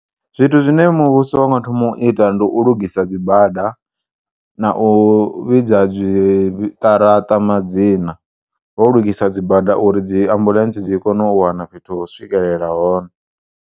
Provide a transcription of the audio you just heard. Zwithu zwine muvhuso unga thoma u ita ndi u lugisa dzibada, na u vhidza zwiṱaraṱa madzina, ho lugisa dzibada uri dzi ambulentsi dzikone u wana fhethu ho u swikelela hone.